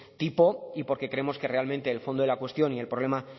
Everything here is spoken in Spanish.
tipo y porque creemos que realmente el fondo de la cuestión y el problema